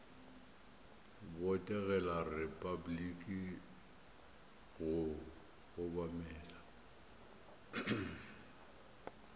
botegela repabliki le go obamela